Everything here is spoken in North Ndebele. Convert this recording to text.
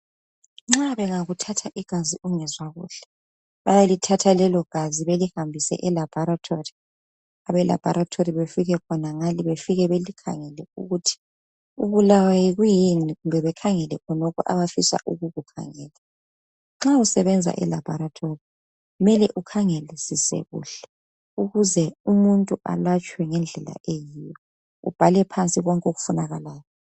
Nxa bengakuthatha igazi ungezwa kuhle bayakubuza ukuthi ubulawa yini besebehambisa igazi lakho elabholetholi uze bekwalaphe kuhle njalo bayabe bebhale phansi ukuba ubulawa yikwini.